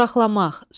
Soraqlamaq.